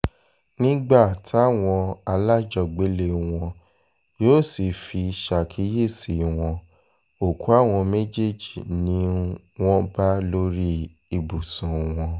nígbà táwọn alájọgbélé wọn yóò sì fi um ṣàkíyèsí wọn òkú àwọn méjèèjì ni um wọ́n bá lórí ibùsùn wọn